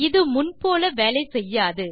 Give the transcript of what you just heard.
இது முன் போல வேலை செய்யாது